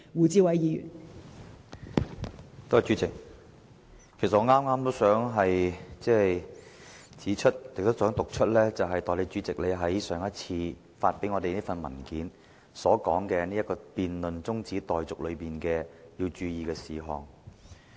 代理主席，其實我也想指出並讀出你在上次會議上發給我們的文件中所載，有關在辯論這項中止待續議案時須注意的事項。